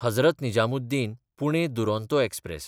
Hazrat Nizamuddin Pune Duronto express